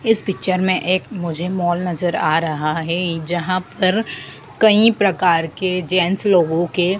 इस पिक्चर में एक मुझे मॉल नजर आ रहा है जहां पर कई प्रकार के जेंट्स लोगों के--